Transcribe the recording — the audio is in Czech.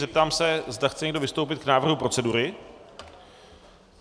Zeptám se, zda chce někdo vystoupit k návrhu procedury.